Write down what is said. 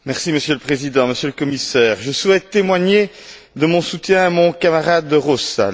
Monsieur le Président, Monsieur le Commissaire, je souhaite témoigner de mon soutien à mon camarade De Rossa.